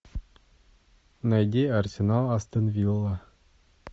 найди арсенал астон вилла